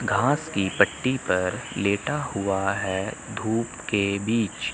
घास की पट्टी पर लेटा हुआ है धूप के बीच--